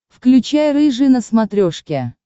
включай рыжий на смотрешке